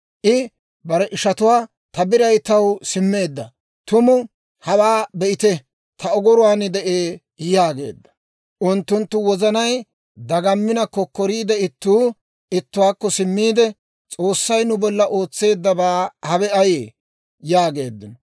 I bare ishatuwaa, «Ta biray taw simmeedda; tumu hawaa be'ite! Ta ogoruwaan de'ee» yaageedda. Unttunttu wozanay dagaminna, kokkoriidde ittuu ittuwaakko simmiide, «S'oossay nu bolla ootseeddabay hawe ayee?» yaageeddino.